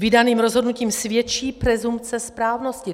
Vydaným rozhodnutím svědčí presumpce správnosti.